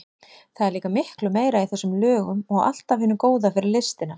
Það er líka miklu meira í þessum lögum og allt af hinu góða fyrir listina.